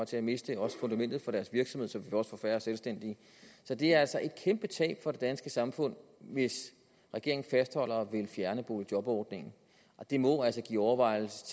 til at miste fundamentet for deres virksomhed så vi også får færre selvstændige så det er altså et kæmpe tab for det danske samfund hvis regeringen fastholder at ville fjerne boligjobordningen og det må altså give overvejelser